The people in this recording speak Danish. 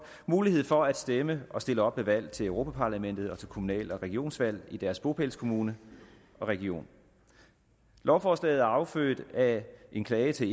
mulighed for at stemme og stille op ved valg til europa parlamentet og til kommunal og regionsvalg i deres bopælskommune og region lovforslaget er affødt af en klage til